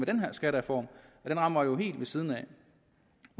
den her skattereform den rammer helt ved siden af